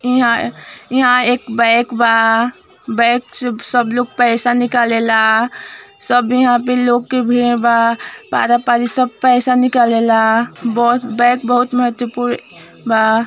इहाँ इहाँ एक बैग बा बैग से सब लोग पैसा निकालेला यहाँ पे लोग के भीड़ बा पारा पारी सब पैसा निकालेला बैग बहुत महत्वपूर्ण बा |